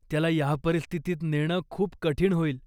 त्याला ह्या परिस्थितीत नेणं खूप कठीण होईल.